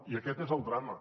i aquest és el drama